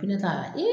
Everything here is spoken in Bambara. Ne t'a